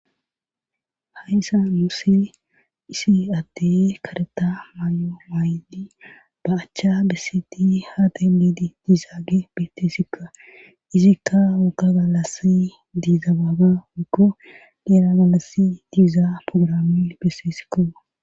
hayssa muosse isi adde kareta may7o maaydi ba achcha beseti haaday meedi diizaage betesikka izikka woka galasi diiza baaba woikko neera galasi diiza programi bese sikkoa